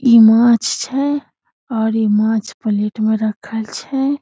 इ माछ छै और इ माछ प्लेट में रखल छै।